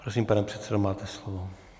Prosím, pane předsedo, máte slovo.